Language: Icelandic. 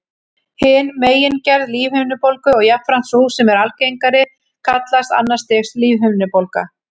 Hin megingerð lífhimnubólgu, og jafnframt sú sem er algengari, kallast annars stigs lífhimnubólga.